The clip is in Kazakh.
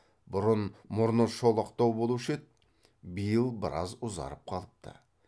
бұрын мұрны шолақтау болушы еді биыл біраз ұзарып қалыпты